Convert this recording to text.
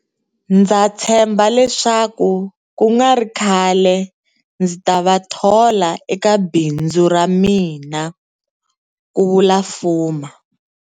Ndza tshemba leswaku ku nga ri khale ndzi ta va thola eka bindzu ra mina, ku vula Fuma.